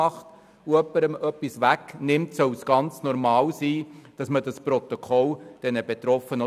Es soll ganz normal sein, dass dieses Protokoll ausgehändigt wird.